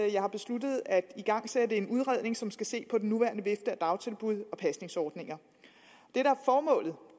at jeg har besluttet at igangsætte en udredning som skal se på den nuværende vifte af dagtilbud og pasningsordninger